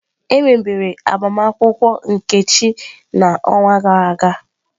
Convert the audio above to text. Emebere agbamakwụkwọ Nkechi n'ọnwa gara aga.